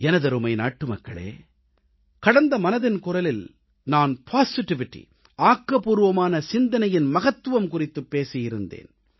எனதருமை நாட்டுமக்களே கடந்த மனதின் குரலில் நான் பாசிட்டிவிட்டி ஆக்கப்பூர்வமான சிந்தனையின் மகத்துவம் குறித்துப் பேசியிருந்தேன்